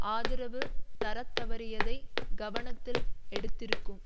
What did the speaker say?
ஆதரவு தரத்தவறியதை கவனத்தில் எடுத்திருக்கும்